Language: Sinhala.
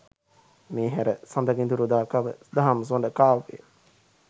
මේ හැර සඳකිඳුරුදාකව දහම්සොඬ කාව්‍යය